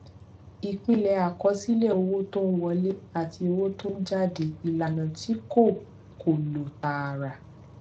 ìpìlẹ àkọsílẹ owó tó ń wọlé àti owó tó ń jáde ìlànà tí kò kò lọ tààrà